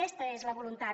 aquesta és la voluntat